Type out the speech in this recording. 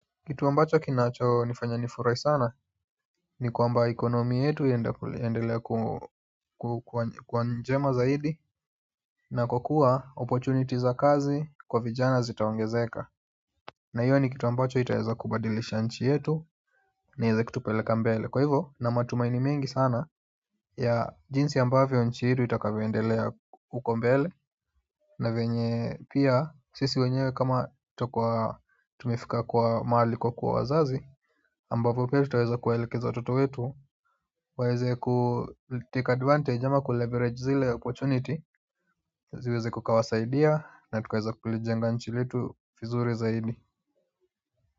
Kitu ambacho kinachonifanya nifurahi sana ni kwamba economy yetu iendelee kuwa njema zaidi na kwa kuwa opportunity za kazi kwa vijana zitaongezeka na hiyo ni kitu ambacho itaeza kubadilisha nchi yetu na ieze kutupeleka mbele kwa hivo nina matumaini mengi sana ya jinsi ambavyo nchi yetu itakavyoendelea huko mbele na venye pia sisi wenyewe kama tutakuwa tumefika kwa mahali kwa kuwa wazazi ambavo pia tutaweza kuwaelekeza watoto wetu waeze ku take advantage ama ku leverage zile opportunity ziweze kukawasaidia na tukaweza kulijenga nchi letu vizuri zaidi.